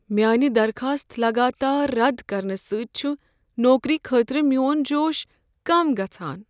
میٲنہِ درخاست لگاتار رد کرنہٕ سۭتۍ چھُ نوکری خٲطرٕ میٛون جوش کم گژھان۔